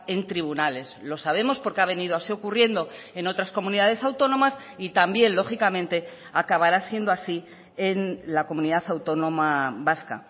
en tribunales lo sabemos porque ha venido así ocurriendo en otras comunidades autónomas y también lógicamente acabará siendo así en la comunidad autónoma vasca